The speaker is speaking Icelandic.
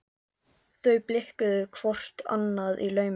Þau blikkuðu hvort annað í laumi.